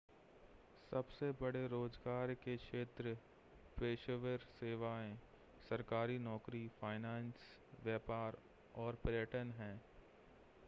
सबसे बड़े रोज़गार के क्षेत्र पेशेवर सेवाएं सरकारी नौकरी फ़ाइनेंस व्यापार और पर्यटन हैं